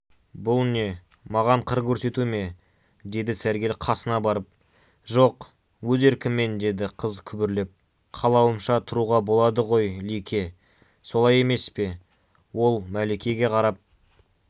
бұл не маған қыр көрсету ме деді сәргел қасына барып жоқ өз еркіммен деді қыз күбірлеп қалауымша тұруға болады ғой лике солай емес пе ол мәликеге қарап